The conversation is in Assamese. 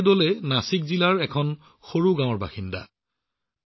শিৱাজী ডোলে নাছিক জিলাৰ এখন সৰু গাঁৱৰ বাসিন্দা